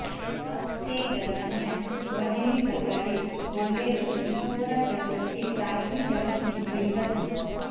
તે દરમિયાન વહેલી સવારે બોલેરો શિહોરા તરફથી સાવલી તરફ નીકળી હતી